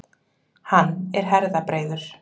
Hann er herðabreiður.